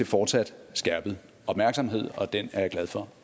fortsat skærpet opmærksomhed og den er jeg glad for